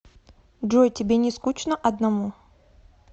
джой тебе не скучно одному